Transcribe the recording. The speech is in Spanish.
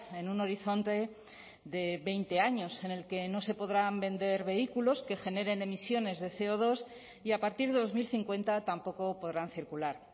en un horizonte de veinte años en el que no se podrán vender vehículos que generen emisiones de ce o dos y a partir de dos mil cincuenta tampoco podrán circular